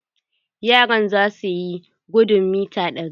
Yaran za suyi gudun mita ɗari.